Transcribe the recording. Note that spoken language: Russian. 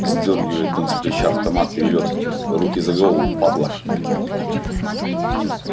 сдёргивает он с плеча автомат и ревет руки за голову падла